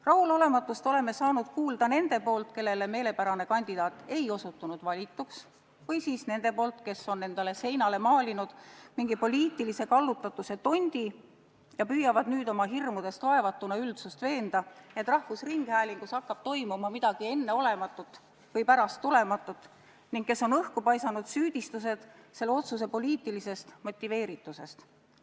Rahulolematust oleme saanud kuulda neilt, kellele meelepärane kandidaat ei osutunud valituks, ja neilt, kes on maalinud endale seinale mingisuguse poliitilise kallutatuse tondi ja püüavad nüüd oma hirmudest vaevatuna üldsust veenda, et rahvusringhäälingus hakkab toimuma midagi enneolematut või pärasttulematut, ning kes on paisanud õhku süüdistused selle otsuse poliitilisest motiveeritusest.